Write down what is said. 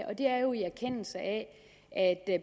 det er jo i erkendelse af